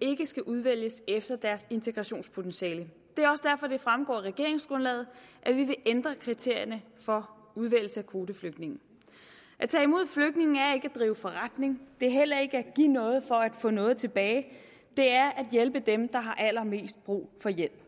ikke skal udvælges efter deres integrationspotentiale det er også derfor det fremgår af regeringsgrundlaget at vi vil ændre kriterierne for udvælgelse af kvoteflygtninge at tage imod flygtninge er ikke at drive forretning det er heller ikke at give noget for at få noget tilbage det er at hjælpe dem der har allermest brug for hjælp